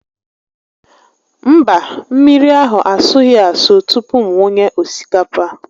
Mba, mmiri ahụ asụghị asụ tupu m wunye osikapa